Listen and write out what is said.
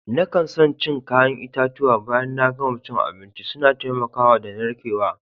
Na kan son cin kayan itatuwa baya na gama cin abinci. Suna taimaka da narkewa.